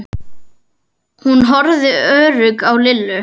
Hún horfði óörugg á Lillu.